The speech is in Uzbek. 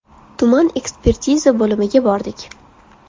Tuman ekspertiza bo‘limiga bordik.